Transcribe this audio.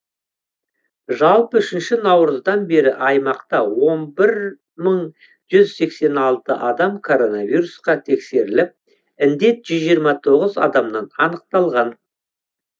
жалпы үшінші наурыздан бері аймақта он бір мың жүз сексен алты адам коронавирусқа тексеріліп індет жүз жиырма тоғыз адамнан анықталған